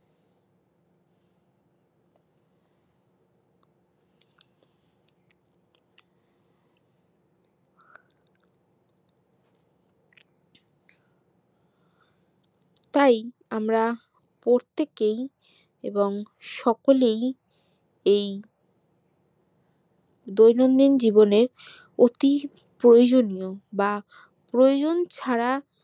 তাই আমরা প্রত্যেকেই এবপং সকলেই এই দৈনন্দিন জীবনের অতি প্রয়োজনীয় বা প্রয়োজন ছাড়া